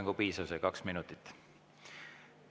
Minu jaoks oli see kaks minutit rohkem kui piisav.